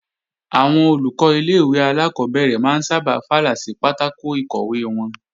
Àwọn Olùkọ́ ilé-ìwé alákọ́bẹ̀rẹ̀ máa ń sábà fàlà sí pátákò ìkọ̀wé wọn